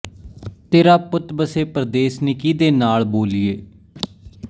ਤੇਰਾ ਪੁੱਤ ਵੱਸੇ ਪਰਦੇਸ ਨੀ ਕੀਹਦੇ ਨਾਲ਼ ਬੋਲੀਏ